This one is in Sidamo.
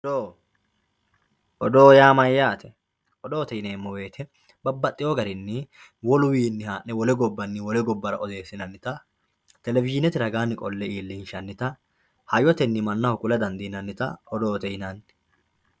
Odoo. Odoo yaa mayyaate? Odoote yineemmo woyite babbaxxiwo garinni woluwiinni haa'ne wole gobbanni wole gobbara odoossinannita televishiinete ragaanni qolle iillinshannita hayyotenni mannaho kula dandiinnannita odoote yinanni.